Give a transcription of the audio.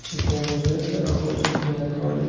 у тебя найдется охотники на троллей